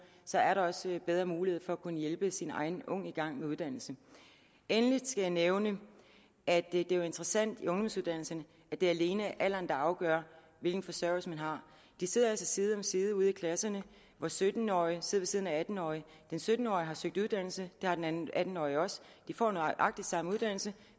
så er der også bedre mulighed for at kunne hjælpe sin egen unge i gang med uddannelse endelig skal jeg nævne at det jo er interessant i ungdomsuddannelserne at det alene er alderen der afgør hvilken forsørgelse man har de sidder altså side om side ude i klasserne sytten årige sidder ved siden af atten årige den sytten årige har søgt uddannelse det har den atten årige også de får nøjagtig samme uddannelse